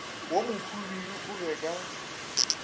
wo mohwibidu o be ka